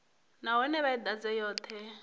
nahone vha i ḓadze yoṱhe